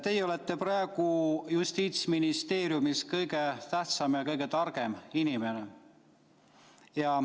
Teie olete praegu Justiitsministeeriumis kõige tähtsam ja kõige targem inimene.